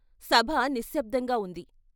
సభ నిశ్శబ్దంగా వుంది.